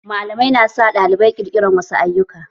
Malamai na sa ɗalibai ƙirƙirar wasu ayyuka